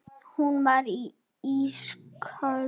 Hún var ísköld.